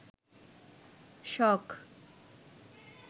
শখ